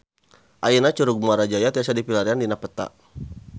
Ayeuna Curug Muara Jaya tiasa dipilarian dina peta